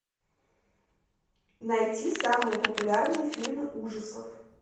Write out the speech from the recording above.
найти самые популярные фильмы ужасов